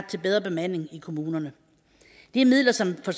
til bedre bemanding i kommunerne det er midler som for